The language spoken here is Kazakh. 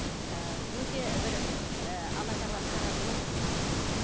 ііі өте бір ііі алла тағала таразы ғой жақсы біледі